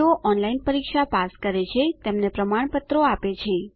જેઓ ઓનલાઇન પરીક્ષા પાસ કરે છે તેમને પ્રમાણપત્ર આપે છે